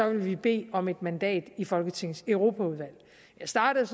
vil vi bede om et mandat i folketingets europaudvalg jeg startede